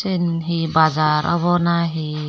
sen he bazar obo nahi?